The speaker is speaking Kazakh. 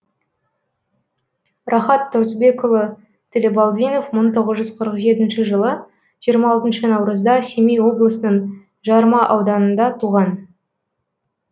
рахат тұрысбекұлы тілебалдинов мың тоғыз жүз қырық жетінші жылы жиырма алтыншы наурызда семей облысының жарма ауданында туған